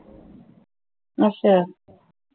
ਅੱਛਾ